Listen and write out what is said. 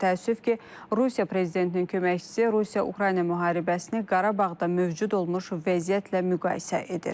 Təəssüf ki, Rusiya prezidentinin köməkçisi Rusiya-Ukrayna müharibəsini Qarabağda mövcud olmuş vəziyyətlə müqayisə edir.